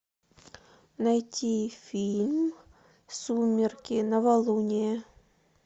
найти фильм сумерки новолуние